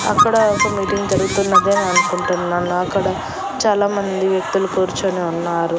అక్కడ ఒక మీటింగ్ జరుగుతున్నదే అనుకుంటున్నాను అక్కడ చాలామంది వ్యక్తులు కూర్చొని ఉన్నారు.